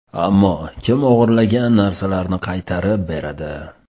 Ammo kim o‘g‘irlangan narsalarni qaytarib beradi?